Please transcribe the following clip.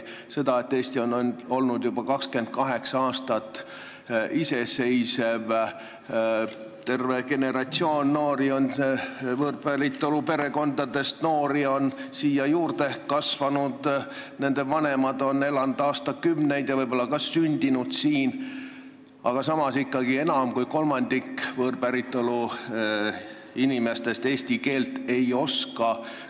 Eesti on olnud juba 28 aastat iseseisev, terve generatsioon võõrpäritolu perekondadest pärit noori on üles kasvanud, nende vanemad on siin elanud aastakümneid ja võib-olla ka sündinud siin, aga samas ikkagi enam kui kolmandik võõrpäritolu inimestest eesti keelt ei oska.